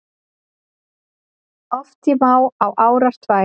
Oft ég má á árar tvær